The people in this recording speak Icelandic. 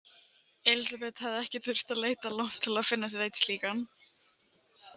Elísabet hafði ekki þurft að leita langt til að finna sér einn slíkan.